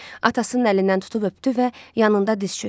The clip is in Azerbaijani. Atasının əlindən tutub öpdü və yanında diz çökdü.